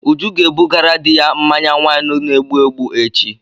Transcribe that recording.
Uju ga ebugara di ya mmanya waịnu na-egbụ egbụ echi.